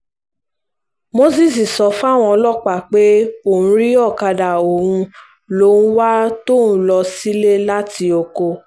mósès sọ fáwọn ọlọ́pàá pé orí ọ̀kadà òun lòún wà tóun ń lọ sílé láti oko